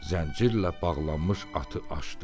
Zəncirlə bağlanmış atı açdı.